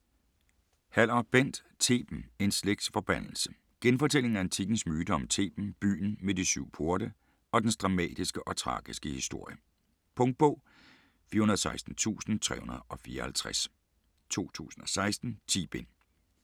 Haller, Bent: Theben: en slægts forbandelse Genfortælling af antikkens myter om Theben, byen med de syv porte, og dens dramatiske og tragiske historie. Punktbog 416354 2016. 10 bind.